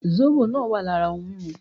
Zóbò náà wà lára ohun mímu